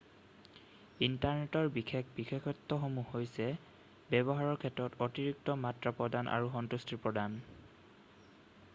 ইণ্টাৰনেটৰ বিশেষ বিশেষত্বসমূহ হৈছে ব্যৱহাৰৰ ক্ষেত্ৰত অতিৰিক্ত মাত্ৰা প্ৰদান আৰু সন্তুষ্টি প্ৰদান